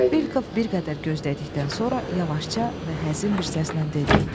Belkov bir qədər gözlədikdən sonra yavaşca və həzin bir səslə dedi.